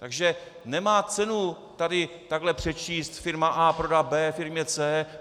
Takže nemá cenu tady takhle přečíst firma A prodá B firmě C.